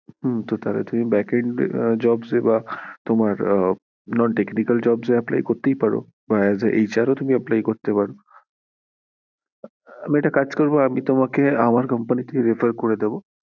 হম তাহলে তুমি backend এ jobs এ বা তোমার কোনো technical jobs এ apply করতেই পারো as aHR ও তুমি এপলাই করতে পারো আমি একটা কাজ করবো আমি তোমাকে আমার company তে তোমাকে refer করে দেব ।